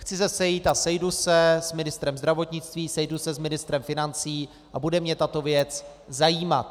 Chci se sejít a sejdu se s ministrem zdravotnictví, sejdu se s ministrem financí a bude mě tato věc zajímat.